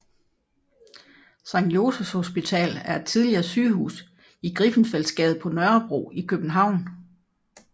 Sankt Josephs Hospital er et tidligere sygehus i Griffenfeldsgade på Nørrebro i København